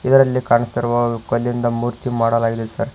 ಇದ್ರಲ್ಲಿ ಕಾಣಿಸ್ತಿರುವ ಕಲ್ಲಿಂದ ಮೂರ್ತಿ ಮಾಡಲಾಗಿದೆ ಸರ್.